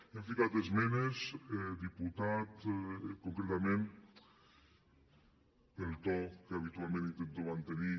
hem ficat esmenes diputat concretament pel to que habitualment intento mantenir